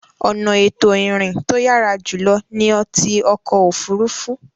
Ọ̀nà ètò ìrìn to yàrá jùlọ ni ti ọkọ̀ òfuurufú.